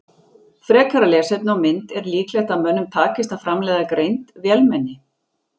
Frekara lesefni og mynd Er líklegt að mönnum takist að framleiða greind vélmenni?